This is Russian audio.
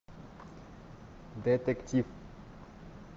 детектив